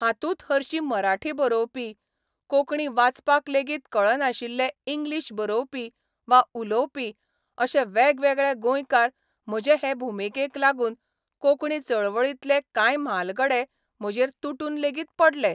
हातूंत हरशीं मराठी बरोवपी, कोंकणी वाचपाक लेगीत कळनाशिल्ले इंग्लीश बरोवपी वा उलोवपी अशे वेगवेगळे गोंयकार म्हजे हे भुमिकेक लागून कोंकणी चळवळींतले कांय म्हालगडे म्हजेर तुटून लेगीत पडले.